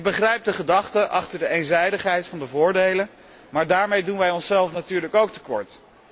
Ik begrijp de gedachte achter de eenzijdigheid van de voordelen, maar daarmee doen wij onszelf natuurlijk ook te kort.